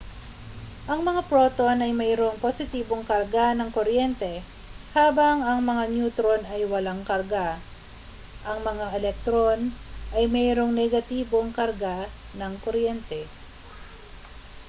ang mga proton ay mayroong positibong karga ng kuryente habang ang mga neutron ay walang karga ang mga elektron ay mayroong negatibong karga ng kuryente